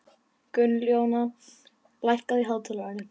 Gunnjóna, lækkaðu í hátalaranum.